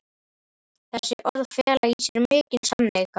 Þessi orð fela í sér mikinn sannleika.